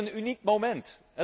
Wij hebben een uniek moment!